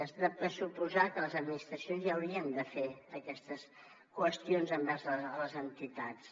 és de pressuposar que les administracions ja haurien de fer aquestes qüestions envers les entitats